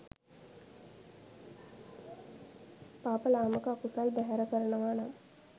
පාප ලාමක අකුසල් බැහැර කරනවා නම්